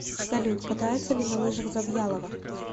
салют катается ли на лыжах завьялова